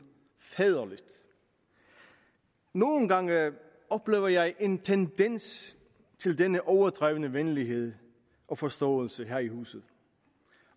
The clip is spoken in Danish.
faderligt nogle gange oplever jeg en tendens til denne overdrevne venlighed og forståelse her i huset